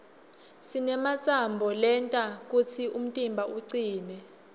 sinematsambo lenta kutsi umtimba ucine